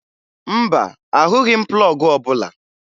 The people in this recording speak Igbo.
Mba, ahụghị m plọọgụ ọbụla